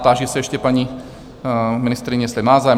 Táži se ještě paní ministryně, jestli má zájem?